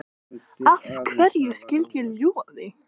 Af hverju skyldi ég ljúga því?